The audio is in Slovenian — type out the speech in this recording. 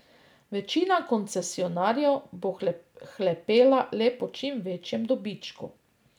Večina koncesionarjev bo hlepela le po čim večjem dobičku.